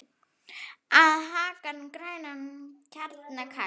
á hagann grænan, hjarnið kalt